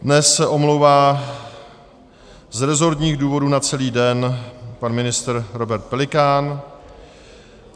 Dnes se omlouvá z resortních důvodů na celý den pan ministr Robert Pelikán.